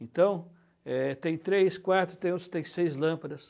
Então, é, tem três, quatro, tem uns que tem seis lâmpadas.